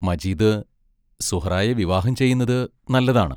മജീദ് സുഹ്റായെ വിവാഹം ചെയ്യുന്നത് നല്ലതാണ്.